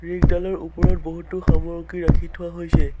বিদ্যালয়ৰ ওপৰত বহুতো সামগ্ৰী ৰাখি থোৱা হৈছে।